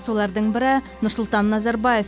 солардың бірі нұрсұлтан назарбаев